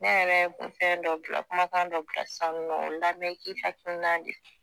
Ne yɛrɛɛ kun fɛndɔ bila kumakandɔ bila sisan nɔ o lamɛn i k' i hakilina di